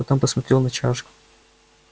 потом посмотрел на чашку